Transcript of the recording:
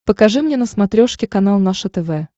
покажи мне на смотрешке канал наше тв